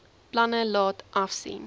planne laat afsien